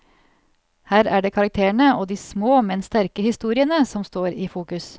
Her er det karakterene og de små men sterke historiene som står i fokus.